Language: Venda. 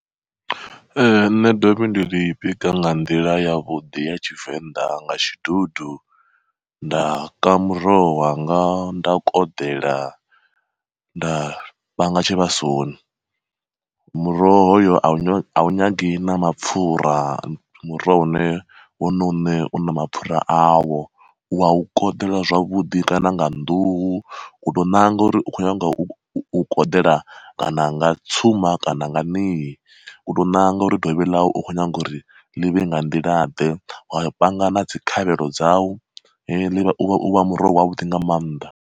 Ee nṋe dovhi ndi ḽi bika nga nḓila ya vhuḓi ya tshivenḓa nga tshidudu, nda ka muroho wanga nda koḓela nda panga tshivhasoni. Muroho hoyo awu a nyagi na mapfura muroho une wono uṋe u na mapfura awo, wau koḓele zwavhuḓi kana nga nḓuhu ku tou ṋanga uri u khou nyanga u u koḓela kana nga tsuma kana nga ṋie, u to ṋanga uri dovhi ḽau u kho nyaga uri ḽivhe nga nḓila ḓe wa panga na dzi khavhelo dzau u vha muroho wavhuḓi nga mannḓa.